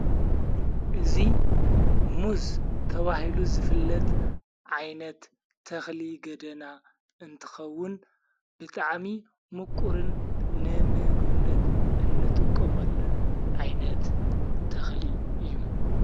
እዙ ሙዝ ተብሂሉ ዝፍለጥ ዓይነት ተኽሊ ገደና እንትኸውን ብጥዕሚ ምቁርን ንምግነት እንጥቅመሉን ዓይነት ተኽሊ እዩ።